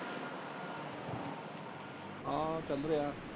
ਆ ਚੱਲ ਰਿਹਾ।